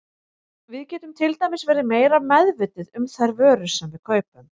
Við getum til dæmis verið meira meðvituð um þær vörur sem við kaupum.